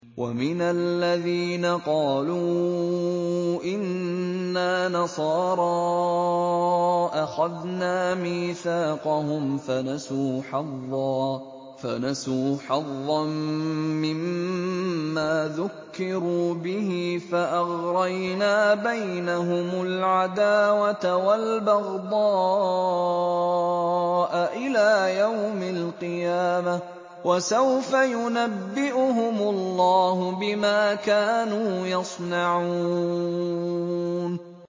وَمِنَ الَّذِينَ قَالُوا إِنَّا نَصَارَىٰ أَخَذْنَا مِيثَاقَهُمْ فَنَسُوا حَظًّا مِّمَّا ذُكِّرُوا بِهِ فَأَغْرَيْنَا بَيْنَهُمُ الْعَدَاوَةَ وَالْبَغْضَاءَ إِلَىٰ يَوْمِ الْقِيَامَةِ ۚ وَسَوْفَ يُنَبِّئُهُمُ اللَّهُ بِمَا كَانُوا يَصْنَعُونَ